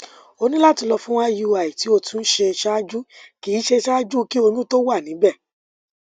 o ni lati lọ fun iui ti o tun ṣe ṣaaju ki ṣe ṣaaju ki oyun to wa nibẹ